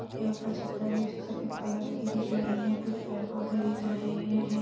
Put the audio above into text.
है ऊपर छत्तर है जो सफेद कलर की दिख रही है कुछ पेड़-पौधे दिख रहे हैं।